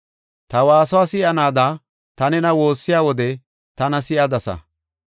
Ta waasuwa si7anaada ta nena woossiya wode tana si7adasa.